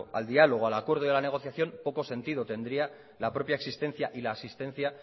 al diálogo al acuerdo y a la negociación poco sentido tendría la propia existencia y la asistencia